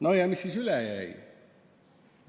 No ja mis siis üle jäi?